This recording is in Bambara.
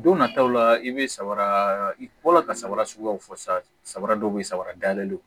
Don nataw la i bɛ samara i bɔ la ka samara suguyaw fɔ sabara dɔw bɛ yen samaradalen don